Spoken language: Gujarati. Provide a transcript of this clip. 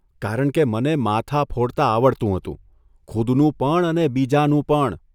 કારણ કે મને માથાં ફોડતાં આવડતું હતું, ખુદનું પણ અને બીજાનું પણ !